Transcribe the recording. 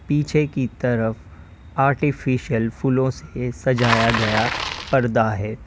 पीछे की तरफ आर्टिफिशियल फूलों से सजाया गया पर्दा है।